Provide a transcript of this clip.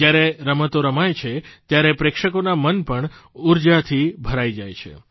જ્યારે રમતો રમાય છે ત્યારે પ્રેક્ષકોનાં મન પણ ઊર્જાથી ભરાઇ જાય છે